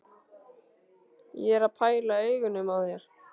Ég er að pæla í augunum á þér.